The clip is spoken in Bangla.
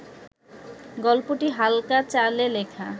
গল্পটি হালকা চালে লেখা